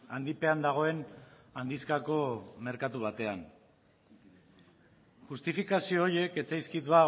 handipean dagoen handizkako merkatu batean justifikazio horiek ez zaizkit